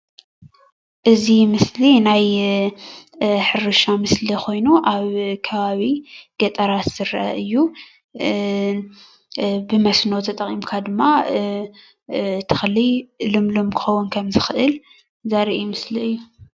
እዚ ምስሊ ናይ ሕርሻ ምስሊ ኮይኑ ኣብ ከባቢ ገጠራት ዝረአ እዩ፡፡ ብመስመር ተጠቂምካ ድማ ተኽሊ ልምሉም ክከውን ከም ዝኽእል ዘርኢ ምስሊ እዩ፡፡